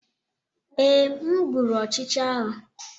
Ee, m gbụrụ ọchịcha ahụ.